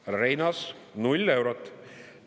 Härra Reinaas, 0 eurot!